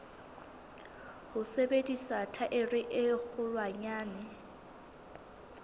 ho sebedisa thaere e kgolwanyane